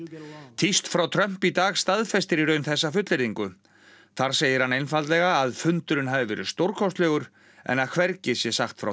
tíst frá Trump í dag staðfestir í raun þessa fullyrðingu þar segir hann einfaldlega að fundurinn hafi verið stórkostlegur en að hvergi sé sagt frá